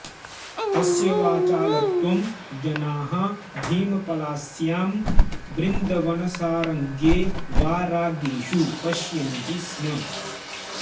तस्य वाचालत्वं जनाः भीमपलास्य़ां बृन्दवनसारङे वा रागेषु पश्यन्ति स्म